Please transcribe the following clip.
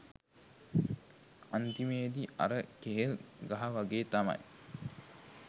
අන්තිමේදි අර කෙහෙල් ගහ වගේ තමයි